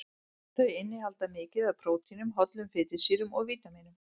Þau innihalda mikið af prótínum, hollum fitusýrum og vítamínum.